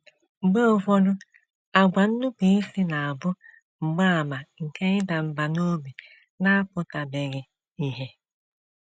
Mgbe ụfọdụ, àgwà nnupụisi na - abụ mgbaàmà nke ịda mbà n’obi na - apụtabeghị ìhè